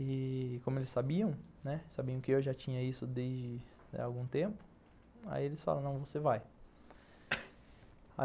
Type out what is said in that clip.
E... como eles sabiam, né, sabiam que eu já tinha isso desde algum tempo, aí eles falaram, não, você vai.